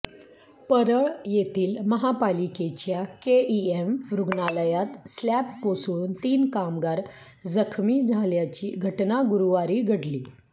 परळ येथील महापालिकेच्या केईएम रुग्णालयात स्लॅब कोसळून तीन कामगार जखमी झाल्याची घटना गुरुवारी घडली